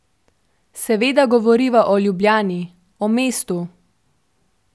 Seveda govoriva o Ljubljani, o mestu.